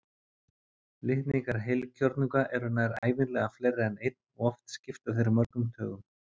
Litningar heilkjörnunga eru nær ævinlega fleiri en einn og oft skipta þeir mörgum tugum.